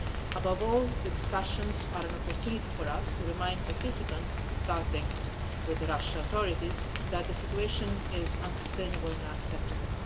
Above all, the discussions are an opportunity for us to remind participants starting with the Russian authorities that the situation is unsustainable and unacceptable.